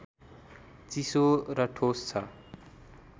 चिसो र ठोस छ